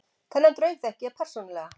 Þennan draug þekki ég persónulega.